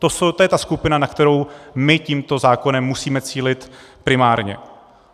To je ta skupina, na kterou my tímto zákonem musíme cílit primárně.